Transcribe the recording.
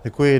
Děkuji.